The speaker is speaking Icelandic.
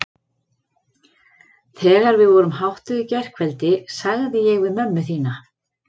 Þegar við vorum háttuð í gærkveldi sagði ég við mömmu þína